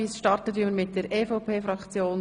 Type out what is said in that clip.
Wir beginnen mit der EVP-Fraktion.